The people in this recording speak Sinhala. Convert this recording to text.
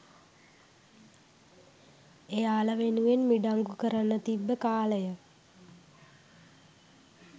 එයාල වෙනුවෙන් මිඩංගු කරන්න තිබ්බ කාලය.